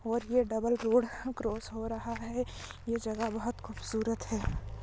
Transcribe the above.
और ये double road cross हो रहा है ये जगा बहुत खूबसूरत है।